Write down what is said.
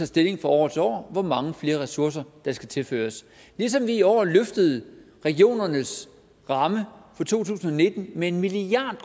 stilling fra år til år hvor mange flere ressourcer der skal tilføres ligesom vi i år løftede regionernes ramme for to tusind og nitten med en milliard